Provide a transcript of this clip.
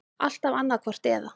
Alltaf annaðhvort eða.